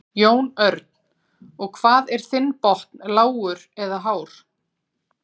Jón Örn: Og hvað er þinn botn lágur eða hár?